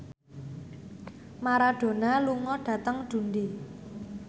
Maradona lunga dhateng Dundee